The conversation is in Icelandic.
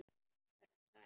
Vertu sæl!